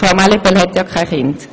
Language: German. Frau Mallepell hat keine Kinder.